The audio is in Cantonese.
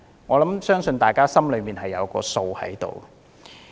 我相信大家心中有數。